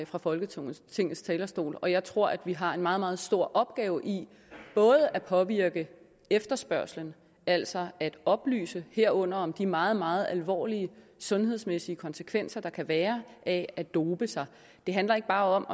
fra folketingets talerstol og jeg tror vi har en meget meget stor opgave i at påvirke efterspørgslen altså at oplyse herunder om de meget meget alvorlige sundhedsmæssige konsekvenser der kan være af at dope sig det handler ikke bare om